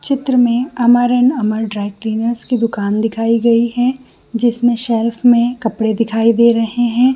चित्र में Amar and Amar dry cleaners की दुकान दिखाई गई है जिसमें सेल्फ में कपड़े दिखाई दे रहै हैं।